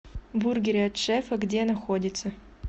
бургеры от шефа где находится